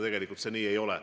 Tegelikult see nii ei ole.